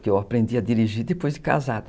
que eu aprendi a dirigir depois de casada.